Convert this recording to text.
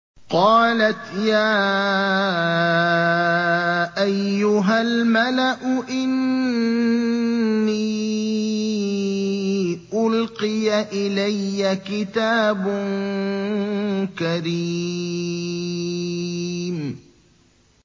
قَالَتْ يَا أَيُّهَا الْمَلَأُ إِنِّي أُلْقِيَ إِلَيَّ كِتَابٌ كَرِيمٌ